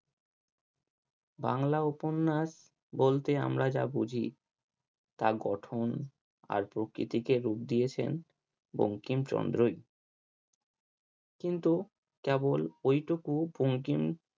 বাংলা উপন্যাস বলতে আমরা যা বুঝি তা গঠন আর প্রকৃতিকে রূপ দিয়েছেন বঙ্কিমচন্দ্রই কিন্তু কেবল এইটুকু বঙ্কিম